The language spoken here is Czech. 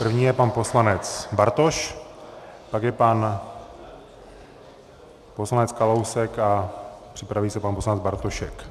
První je pan poslanec Bartoš, pak je pan poslanec Kalousek a připraví se pan poslanec Bartošek.